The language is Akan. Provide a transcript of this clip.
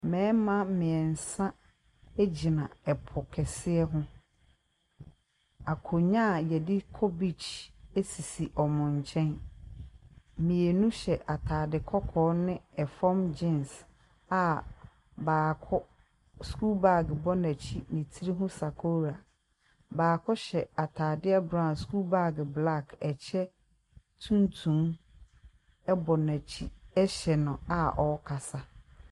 Mmarima mmiɛnsa gyina po kɛseɛ ho. Akonnwa a yɛde kɔ beach sisi wɔn nkyɛn. Mmienu hyɛ ataade kɔkɔɔ ne fam gens a baako sukuu bag bɔ n'akyi ne tiri ho sakoora. Baako ataade brown, sukuu bag. Ɛkyɛ tuntum bɔ n'akyi ɛhyɛ no a ɔrekasa.